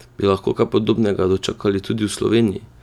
Bi lahko kaj podobnega dočakali tudi v Sloveniji?